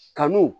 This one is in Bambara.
Kanu